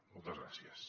moltes gràcies